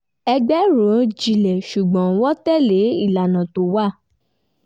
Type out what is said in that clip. ẹgbẹ́ rò jinlẹ̀ ṣùgbọ́n wọ́n tẹ̀lé ìlànà tó wà